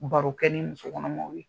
Barokɛ ni musokɔnɔmaw ye.